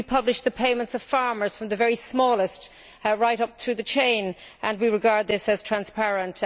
We published the payments of farmers, from the very smallest right up through the chain, and we regard this as transparent.